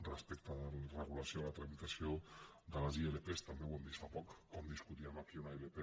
respecte de la regulació de la tramitació de les ilp també ho hem vist fa poc com discutíem aquí una ilp